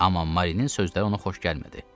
Amma Marinin sözləri ona xoş gəlmədi.